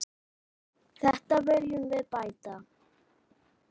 Þetta viljum við bæta.